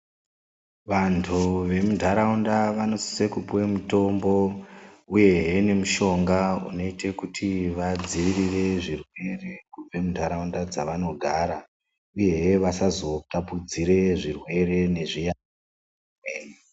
Vantu vemuntaraunda vanosise kupiwa mitombo uyehe nemushonga unoite kuti vadziirire zvirwere kune ntaraunda dzevanogara uyehe vasazotapudzire zvirwere nezviyaiyo.